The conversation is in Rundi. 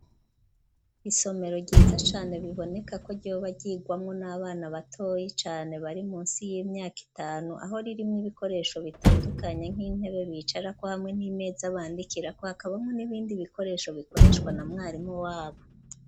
Isomero ryiza cane biboneka ko ryoba ryigwamwo n'abana batoyi cane bari munsi y'imyaka itanu aho ririmwe ibikoresho bitandukanye nk'intebe bicara ko hamwe n'imeza bandikira ko hakabamwo n'ibindi bikoresho bikoreshwa na mwarimu wabo.